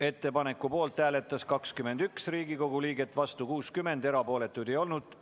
Ettepaneku poolt hääletas 21 Riigikogu liiget, vastu 60, erapooletuid ei olnud.